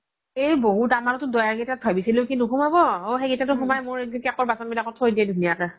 এ বহুত আমাৰ তো দয়াৰ কেইতা ত ভাবিছিলো কি নোসোমাব অ সেইকেইতাতও সোমাই মোৰ এক্দিন কেকু বাচ্ন বিলাকত থই দিয়ে ধুনিয়া কে